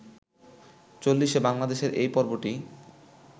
চল্লিশে বাংলাদেশের এই পর্বটি